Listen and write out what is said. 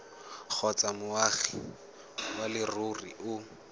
kgotsa moagi wa leruri o